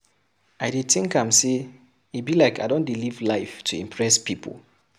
I dey tink am sey e be like I don dey live to impress pipu.